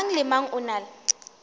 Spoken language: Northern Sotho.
mang le mang o na